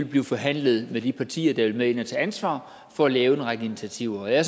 blive forhandlet med de partier der vil med ind at tage ansvar for at lave en række initiativer jeg er